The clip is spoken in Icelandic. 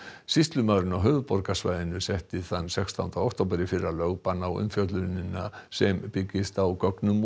sýslumaðurinn á höfuðborgarsvæðinu setti þann sextánda október í fyrra lögbann á umfjöllunina sem byggist á gögnum úr